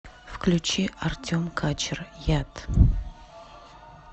включи артем качер яд